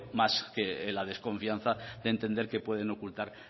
más que la desconfianza de entender que pueden ocultar